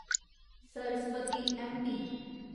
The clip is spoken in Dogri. सरस्वती ऐम्मपी